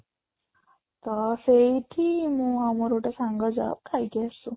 ତ ସେଇଠି ମୁଁ ଆଉ ମୋର ଗୋଟେ ସାଙ୍ଗ ଯାଉ ଖାଇକି ଆସୁ